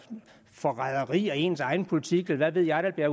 forræderi af ens egen politik eller hvad ved jeg der bliver